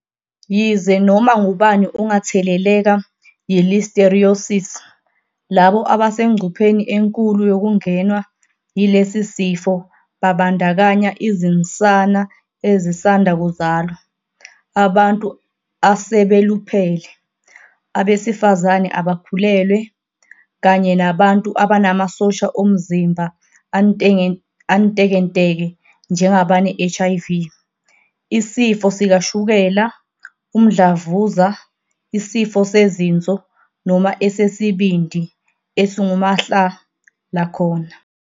Yize noma ngubani ongatheleleka yi-Listeriosis, labo abasengcupheni enkulu yokungenwa yilesi sifo babandakanya izinsana ezisanda kuzalwa, abantu asebeluphele, abesifazane abakhulelwe, kanye nabantu abanamasosha omzimba antekenteke njengabane-HIV, isifo sikashukela, umdlavuza, isifo sezinso noma esesibindi esingumahla lakhona.